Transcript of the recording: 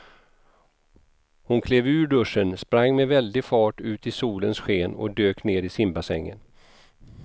Hon klev ur duschen, sprang med väldig fart ut i solens sken och dök ner i simbassängen.